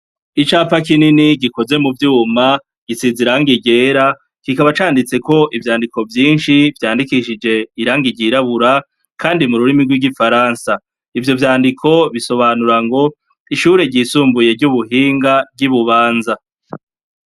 Icapa kinini gikozwe mu vyuma gisize irangi ryera kikaba canditseko ivyandiko vyinshi vyandikishije irangi ryirabura kandi mu rurimi rw'igifaransa, ivyo vyandiko bisobanura ngo ishure ryisumbuye ry'ubuhinga ry'i Bubanza.